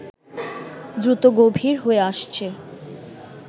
দ্রুত গভীর হয়ে আসছে